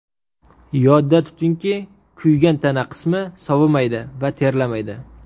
Yodda tutinki, kuygan tana qismi sovimaydi va terlamaydi.